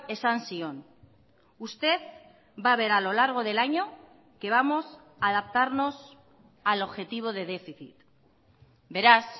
esan zion usted va a ver a lo largo del año que vamos a adaptarnos al objetivo de déficit beraz